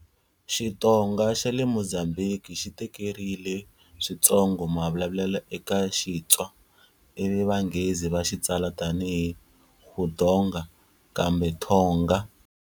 Xitonga xa le Mozambique xi tekerile swintsongo mavulavulelo eka Xitswa, ivi vanghezi va xi tsala tani hi Guitonga kumbe Thonga.